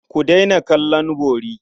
Ku daina kallon bori.